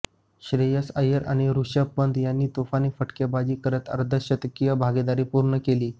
श्रेयस अय्यर आणि ऋषभ पंत यांनी तुफान फटकेबाजी करत अर्धशतकीय भागीदारी पूर्ण केली